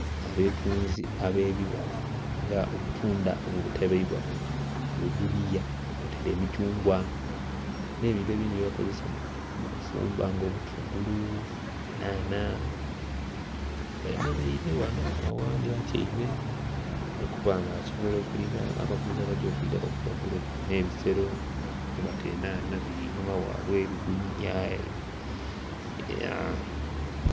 Abatunzi ab'ebibala nga obutunda obutereibwa mu bigudiya, kwotaire emithungwa, n'ebintu ebindhi byebakozesa mu kufumba nga obutungulu, enhanha. Bemeleire ghano, oghandhi atyaime ali kuba nga asobola okulinda abaguzi abagya okwidha baguleku. N'ebisero mwebata enhanha einhuma ghabwe, ebiguniya...